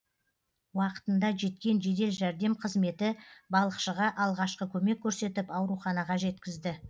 уақытында жеткен жедел жәрдем қызметі балықшыға алғашқы көмек көрсетіп ауруханаға жеткізді